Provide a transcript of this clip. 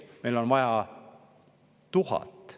Meil on vaja 1000.